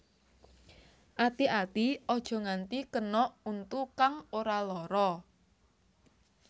Ati ati aja nganti kena untu kang ora lara